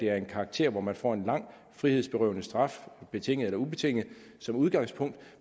er af en karakter hvor man får en lang frihedsberøvende straf betinget eller ubetinget som udgangspunkt